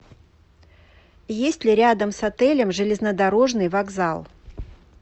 есть ли рядом с отелем железнодорожный вокзал